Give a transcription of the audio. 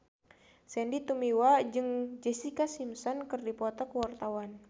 Sandy Tumiwa jeung Jessica Simpson keur dipoto ku wartawan